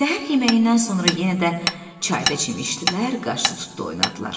Səhər yeməyindən sonra yenə də çayda çimişdilər, qaşdı-tutdu oynadılar.